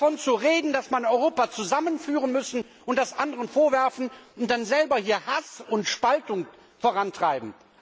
Davon zu reden, dass wir Europa zusammenführen müssen und das anderen vorwerfen und dann selber hier Hass und Spaltung vorantreiben.